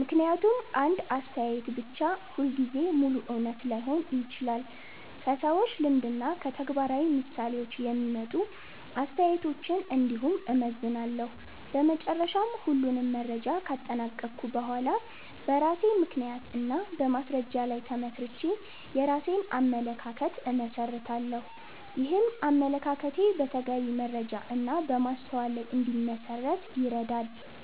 ምክንያቱም አንድ አስተያየት ብቻ ሁልጊዜ ሙሉ እውነት ላይሆን ይችላል። ከሰዎች ልምድ እና ከተግባራዊ ምሳሌዎች የሚመጡ አስተያየቶችን እንዲሁም እመዘንላለሁ። በመጨረሻ ሁሉንም መረጃ ካጠናቀቅሁ በኋላ በራሴ ምክንያት እና በማስረጃ ላይ ተመስርቼ የራሴን አመለካከት እመሰርታለሁ። ይህም አመለካከቴ በተገቢ መረጃ እና በማስተዋል ላይ እንዲመሠረት ይረዳል።